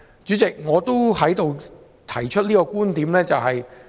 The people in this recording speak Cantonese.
主席，我在此要提出一個觀點。